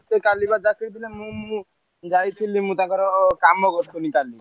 କାଲି ବା ଡ଼ାକିଥିଲେ ମୁଁ ମୁଁ ଯାଇଥିଲି ମୁଁ ତାଙ୍କର କାମ କରିଥିଲି କାଲି।